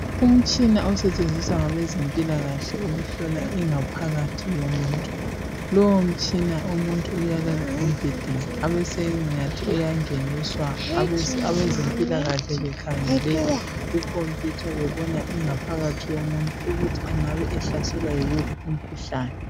Umtshina osetshenziswa ngabezempilakahle ukuhlola ingaphakathi yomuntu lowo mtshina umuntu uyalala embhedeni abesengathi uyangeniswa abezempilakahle bekhangele kukhompuyutha bebona ingaphakathi yomuntu ukuthi engabe ehlaselwe yiwuphi umkhuhlane